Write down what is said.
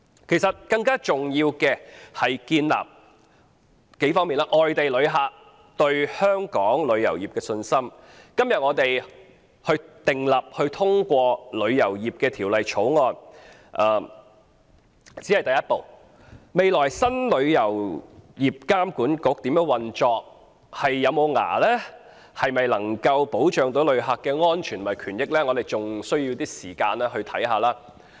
其實，要重建外地旅客對香港旅遊業的信心，今天通過《條例草案》只是第一步，未來新的旅監局如何運作、有否牙力、能否保障旅客的安全和權益，仍需要時間觀察。